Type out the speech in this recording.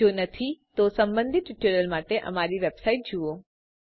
જો નથી તો સંબંધિત ટ્યુટોરીયલ માટે અમારી વેબસાઈટ httpspoken tuitorialorg જુઓ